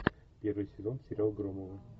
первый сезон сериал громовы